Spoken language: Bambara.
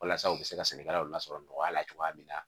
Walasa u bɛ se ka sɛnɛkɛlaw lasɔrɔ nɔgɔya la cogoya min na